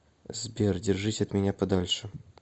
сбер держись от меня подальше